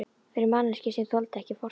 Fyrir manneskju sem þoldi ekki fortíð?